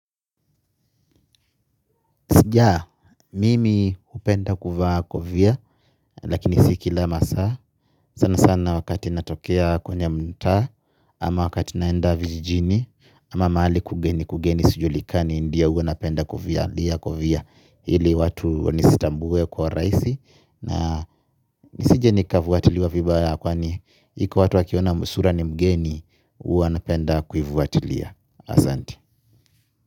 Sija, mimi hupenda kuvaa kofia, lakini si kila masaa, sana sana wakati natokea kwenye mta, ama wakati naenda vijijini, ama mahali kugeni kugeni sujulikani, ndio hua napenda kofia, kovia, hili watu nisitambuwe kwa rahisi, na nisije nikafuatiliwa vibaya kwani, iko watu wakiona sura ni mgeni, hua napenda kuifuatiliya, asante.